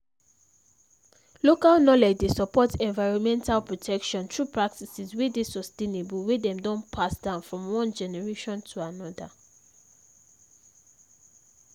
local knowledge dey support environmental protection through practices wey dey sustainable wey dem don pass down from one generation to another